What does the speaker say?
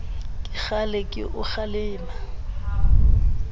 ke kgale ke o kgalema